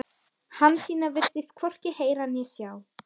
Hansína virtist hvorki heyra né sjá.